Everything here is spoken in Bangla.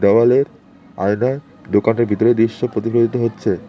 দেওয়ালের আয়নায় দোকানের ভিতরের দিশ্য প্রতিফলিত হচ্ছে।